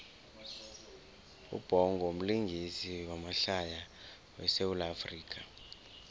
ubhongo mlingisi wamahlaya we sawula afrika